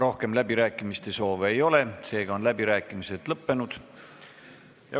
Rohkem läbirääkimiste soovi ei ole, seega on läbirääkimised lõppenud.